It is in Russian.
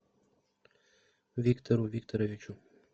виктору викторовичу